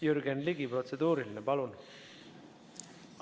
Jürgen Ligi, protseduuriline, palun!